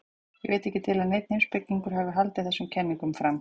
ég veit ekki til að neinn heimspekingur hafi haldið þessum kenningum fram